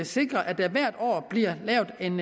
sikre at der hvert år bliver lavet en